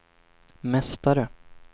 mästare